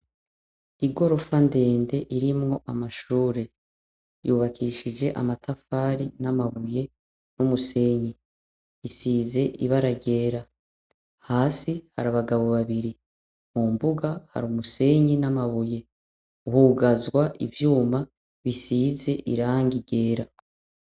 Igorofa ndende irimwo amashure yubakishije amatafari n'amabuye n'umusenyi isize ibara ryera. Hasi hari abagabo babiri, mu mbuga hari umusenyi n'amabuye hugazwa ivyuma bisize irangi ryera.